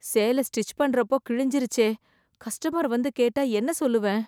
சேல ஸ்டிச் பண்ற அப்போ கிளுஞ்சுருச்சே கஸ்டமர் வந்து கேட்டா என்ன சொல்லுவேன்